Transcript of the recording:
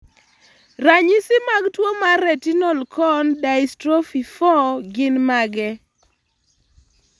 Ranyisi mag tuwo mar Retinal cone dystrophy 4 gin mage?